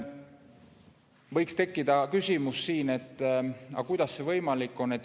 Võib tekkida küsimus, kuidas see võimalik on.